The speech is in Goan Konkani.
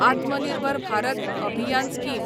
आत्म निर्भर भारत अभियान स्कीम